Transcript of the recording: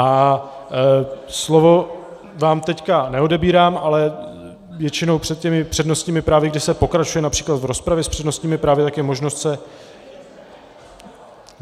A slovo vám teď neodebírám, ale většinou před těmi přednostními právy, kdy se pokračuje například v rozpravě s přednostními právy, tak je možnost se...